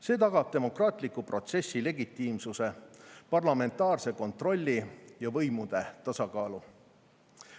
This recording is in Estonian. See tagab demokraatliku protsessi legitiimsuse, parlamentaarse kontrolli ja võimude tasakaalu.